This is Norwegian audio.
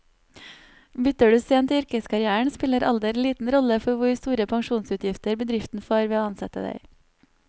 Bytter du sent i yrkeskarrieren, spiller alder liten rolle for hvor store pensjonsutgifter bedriften får ved å ansette deg.